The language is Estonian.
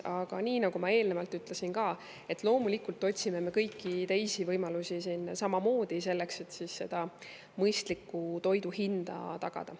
Aga nii nagu ma eelnevalt ütlesin ka, otsime me loomulikult samamoodi kõiki teisi võimalusi, et mõistlikku toidu hinda tagada.